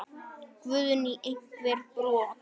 Guðný: Einhver brot?